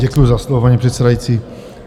Děkuji za slovo, paní předsedající.